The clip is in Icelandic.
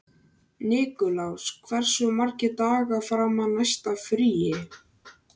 Nikulás, hversu margir dagar fram að næsta fríi?